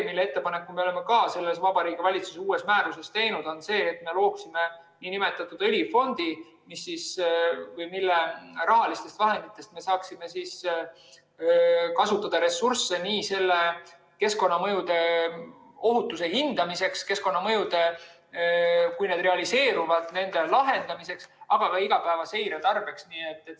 Teine võimalus on see , et me looksime nn õlifondi, mille rahalistest vahenditest me saaksime kasutada ressursse nii keskkonnamõjude ohutuse hindamiseks, keskkonnaprobleemide, kui need realiseeruvad, lahendamiseks, aga ka igapäevase seire tarbeks.